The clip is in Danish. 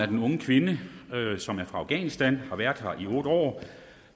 den unge kvinde som er fra afghanistan og har været her i otte år